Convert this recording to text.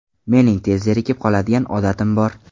Mening tez zerikib qoladigan odatim bor.